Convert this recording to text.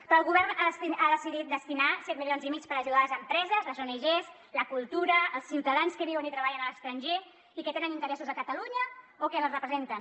però el govern ha decidit destinar set milions i mig per ajudar les empreses les oenagés la cultura els ciutadans que viuen i treballen a l’estranger i que tenen interessos a catalunya o que els representen